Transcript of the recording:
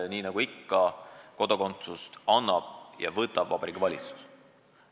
Nii nagu ikka, sellisel juhul kodakondsuse annab ja selle võib võtta Vabariigi Valitsus.